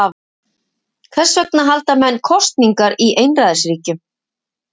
hvers vegna halda menn „kosningar“ í einræðisríkjum